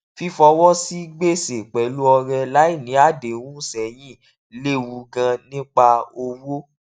fífọwọ sí gbèsè pẹlú ọrẹ láì ní àdéhùn sẹyìn lewu gan nípa owó